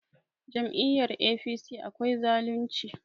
Jami'yar APC akwai zalunci